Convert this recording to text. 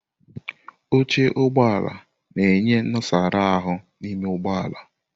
Oche Ụgbọ ala na-enye nnosara ahu n'ime ụgbọ ala.